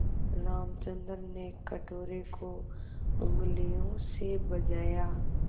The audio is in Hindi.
रामचंद्र ने कटोरे को उँगलियों से बजाया